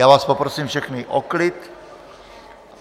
Já vás poprosím všechny o klid.